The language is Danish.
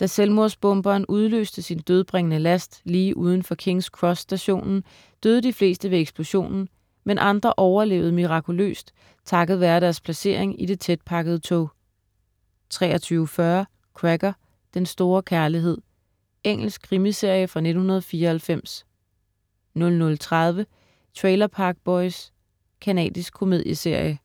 Da selvmordsbomberen udløste sin dødbringende last lige uden for King's Cross-stationen, døde de fleste ved eksplosionen, men andre overlevede mirakuløst takket være deres placering i det tætpakkede tog 23.40 Cracker: Den store kærlighed. Engelsk krimiserie fra 1994 00.30 Trailer Park Boys. Canadisk komedieserie